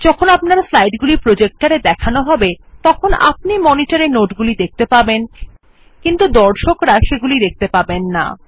যখন আপনার স্লাইড গুলি প্রজেক্টর এ দেখান হবে তখন আপনি monitor এ নোটগুলি দেখতে পাবেন কিন্তু বা দর্ককরা সেগুলি দেখতে পাবেন না